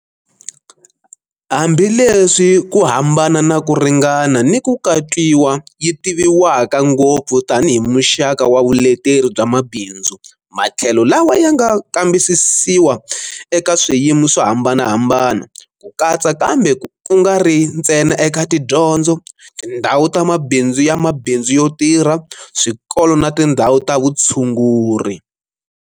Hambi leswi ku hambana naku ringana niku katwiwa yi tiviwaka ngopfu tanihi muxaka wa vuleteri bya mabindzu, matlhelo lawa ya nga kambisisiwa eka swiyimo swo hambanahambana, ku katsa kambe ku nga ri ntsena eka tidyondzo, tindhawu ta mabindzu ya mabindzu yo tirha, swikolo na tindhawu ta vutshunguri.